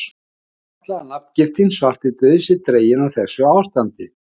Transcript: Má ætla að nafngiftin svartidauði sé dregin af þessu ástandi.